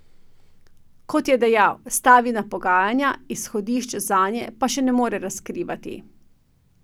Kot je dejal, stavi na pogajanja, izhodišč zanje pa še ne more razkrivati.